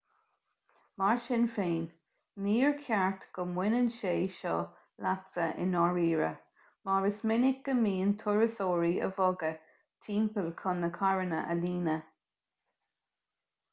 mar sin féin níor cheart go mbaineann sé seo leatsa i ndáiríre mar is minic go mbíonn turasóirí á bhogadh timpeall chun na carranna a líonadh